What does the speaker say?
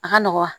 A ka nɔgɔn